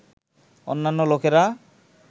অন্যান্য লোকেরা